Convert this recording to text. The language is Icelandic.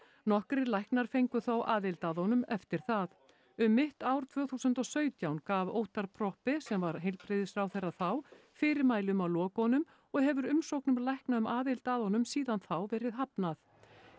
nokkrir læknar fengu þó aðild að honum eftir það um mitt ár tvö þúsund og sautján gaf Óttarr Proppé sem var heilbrigðisráðherra þá fyrirmæli um að loka honum og hefur umsóknum lækna um aðild að honum síðan þá verið hafnað